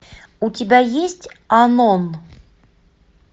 у тебя есть анон